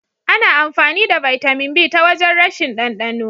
Ana amfani da Bitamin B ta wajen rashin dandano.